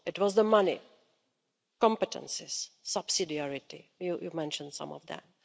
It was the money, competences, subsidiarity you mentioned some of them.